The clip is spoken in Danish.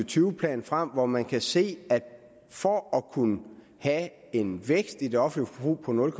tyve plan frem hvor man kan se at for at kunne have en vækst i det offentlige forbrug på nul